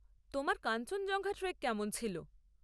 তোমার কাঞ্চনজঙ্ঘা ট্রেক কেমন ছিল?